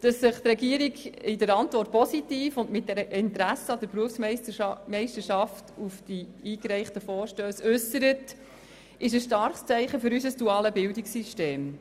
Dass sich die Regierung in ihrer Antwort den eingereichten Vorstössen gegenüber positiv äussert, ist ein starkes Zeichen für unser duales Bildungssystem.